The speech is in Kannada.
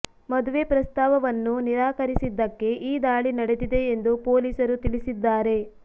ಮದುವೆ ಪ್ರಸ್ತಾವವನ್ನು ನಿರಾಕರಿಸಿದ್ದಕ್ಕೆ ಈ ದಾಳಿ ನಡೆದಿದೆ ಎಂದು ಪೊಲೀಸರು ತಿಳಿಸಿದ್ದಾರೆ